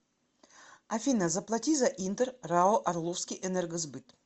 афина заплати за интер рао орловский энергосбыт